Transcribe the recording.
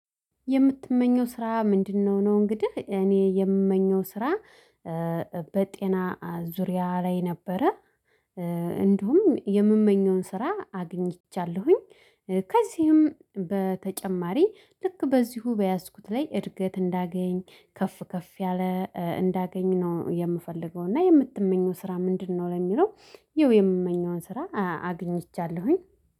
የምትመኘው ስራ ምንድን ነው ነው እንግዲህ እኔ የምመኘው ስራ በጤና ዙሪያ ላይ ነበረ እንዲሁም የምመኘውን ስራ አግኝቻለሁኝ ከዚህም በተጨማሪ ልክ በዚሁ በያዝኩት ላይ እድገት እንዳገኝ ከፍ ከፍ ያለ እንዳገኝ ነው የምፈልገው እና የምትመኘው ስራ ምንድነው ለሚለው ይሄው የምመኘውን ስራ አግኝቻለሁኝ።